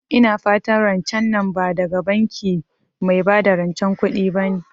Ina fatan rancen nan ba daga banki mai bada rancen kuɗi bane?